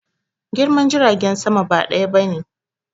Girman jiragen sama ba ɗaya bane